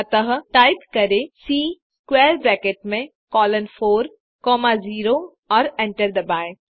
अतः टाइप करें C square bracket में कोलोन 4 कॉमा 0 और एंटर दबाएँ